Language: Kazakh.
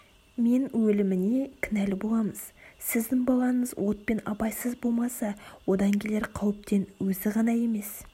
мен өліміне кінәлі боламыз сіздің балаңыз отпен абайсыз болмаса одан келер қауіптен өзі ғана емес